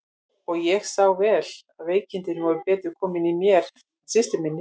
Og ég sá vel að veikindin voru betur komin í mér en í systur minni.